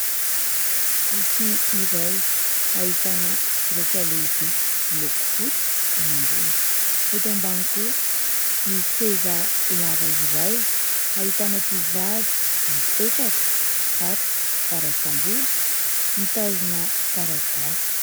boky iray hahitana soratra lehibe miloko fotsy eny ambony ,eto ambany kosa misy seza lava iray ahitana tovovavy mipetraka misatroka mparatsambolo mitazona taratasy